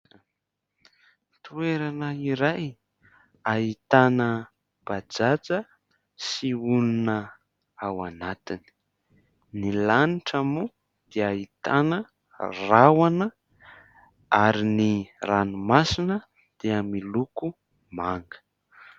Toerana iray ahitana bajaja sy olona ao anatiny. Ny lanitra moa dia ahitana rahona ary ny ranomasina dia miloko manga.